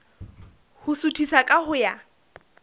ho suthisa ka ho ya